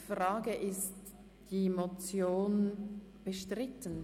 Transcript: Ist die Motion bestritten?